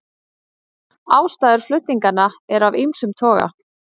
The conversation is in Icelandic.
Ástæður flutninganna eru af ýmsum toga